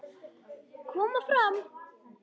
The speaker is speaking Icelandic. Koma fram!